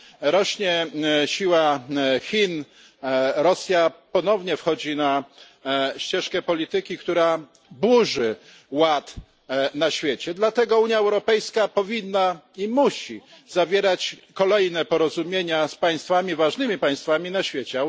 Rośnie siła Chin, Rosja ponownie wchodzi na ścieżkę polityki, która burzy ład na świecie, dlatego Unia Europejska powinna i musi zawierać kolejne porozumienia z państwami z ważnymi państwami na świecie.